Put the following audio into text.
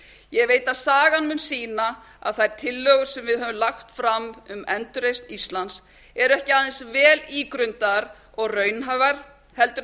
ég veit að sagan mun sýna að þær tillögur sem við höfum lagt fram um endurreisn íslands eru ekki aðeins vel ígrundaðar og raunhæfar heldur